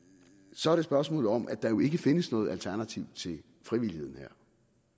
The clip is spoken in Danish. så er det spørgsmålet om at der jo ikke findes noget alternativ til frivilligheden her